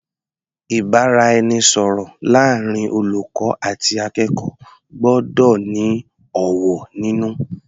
Ìbáraẹnisọ̀rọ̀ láàrin olùkọ́ àti akẹ́kọ̀ọ́ gbọ́dọ̀ ní ọ̀wọ̀ nínú.